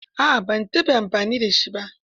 A'a ban taɓa amfani da shi ba.